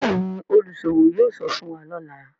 Béèni oluṣowo yóò sọfún wá lọla.